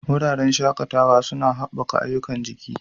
Wuraren shakatawa suna haɓaka ayyukan jiki.